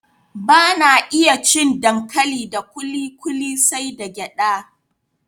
Bana iya cin dankali da kuli kuli sai dai da gyada